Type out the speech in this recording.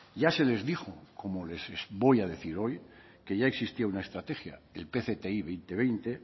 ya se les dijo como les voy a decir hoy que ya existía una estrategia el pcti dos mil veinte